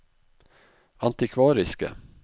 antikvariske